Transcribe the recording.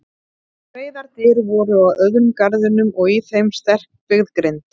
Breiðar dyr voru á öðrum garðinum og í þeim sterkbyggð grind.